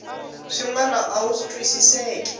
swin wana a wu twisiseki